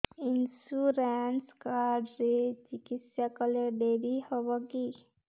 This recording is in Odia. ଇନ୍ସୁରାନ୍ସ କାର୍ଡ ରେ ଚିକିତ୍ସା କଲେ ଡେରି ହବକି